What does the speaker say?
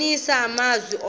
kubonisa amazwi ngqo